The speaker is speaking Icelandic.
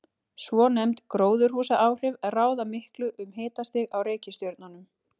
Svonefnd gróðurhúsaáhrif ráða miklu um hitastig á reikistjörnunum.